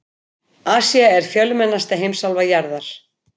Asía er fjölmennasta heimsálfa jarðar.